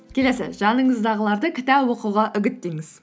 келесі жаныңыздағыларды кітап оқуға үгіттеңіз